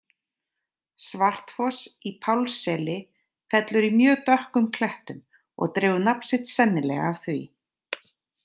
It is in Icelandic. Svartfoss í Pálsseli fellur í mjög dökkum klettum og dregur nafn sitt sennilega af því.